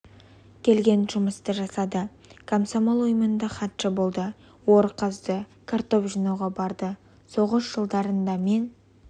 келген жұмысты жасады комсомол ұйымында хатшы болды ор қазды картоп жинауға барды соғыс жылдарында мен